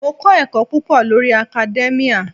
Mò ń kọ́ ẹ̀kọ́ púpọ̀ lórí academia.